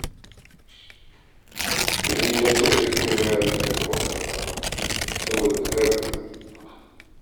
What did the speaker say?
Tani ta cire dukka yaranta daga makaranta saboda karayar arziki